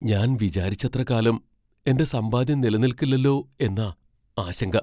ഞാൻ വിചാരിച്ചത്ര കാലം എന്റെ സമ്പാദ്യം നിലനിൽക്കില്ലല്ലോ എന്നാ ആശങ്ക.